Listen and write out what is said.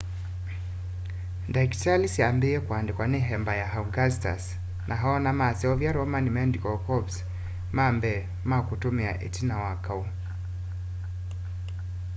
ndakitali syambiiw'e kuandikwa ni emperor augustus na ona maseuvya roman medical corps ma mbee ma kutumia itina wa kau